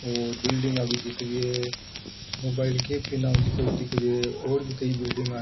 और बिल्डिंगा भी दिख री है मोबाइल की दिख रियो है और भी कई बिल्डिंगा --